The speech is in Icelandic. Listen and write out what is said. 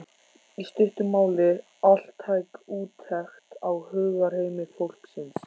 í stuttu máli altæk úttekt á hugarheimi fólksins.